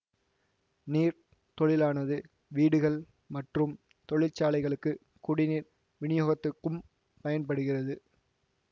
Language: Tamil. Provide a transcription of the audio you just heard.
நீர் தொழிலானது வீடுகள் மற்றும் தொழிற்சாலைகளுக்கு குடிநீர் விநியோகத்துக்கும் பயன்படுகிறது